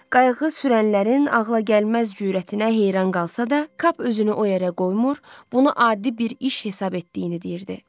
Qayıq sürənlərin ağılagəlməz cürətinə heyran qalsa da, kap özünü o yerə qoymur, bunu adi bir iş hesab etdiyini deyirdi.